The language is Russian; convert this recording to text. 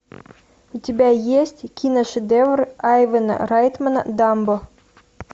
у тебя есть киношедевр айвина райтмена дамбо